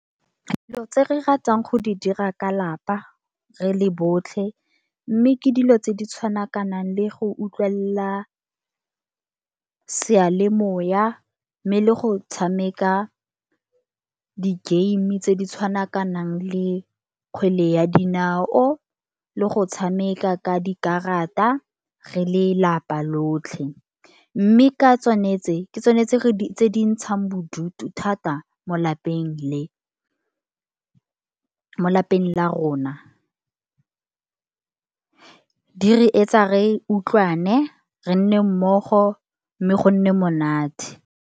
Dilo tse re ratang go di dira, ka lapa, re le botlhe. Mme ke dilo tse di tshwana ka nang le go utlwelela seyalemoya, mme le go tshameka di-game-e, tse di tshwana ka nang le kgwele ya dinao, le go tshameka ka dikarata, re le lapa lotlhe. Mme ka tsone tse, ke tsone tse di ntshang bodutu thata mo lapeng le mo lapeng la rona di re e tsa re utlwane, re nne mmogo mme go nne monate.